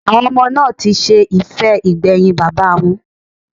Àwọn ọmọ náà ti ṣe ìfẹ́ ìgbẹ̀yìn bàbáa wọn.